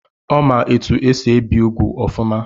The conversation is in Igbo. Ọ ma etu esi ebi úgwù ọfụma.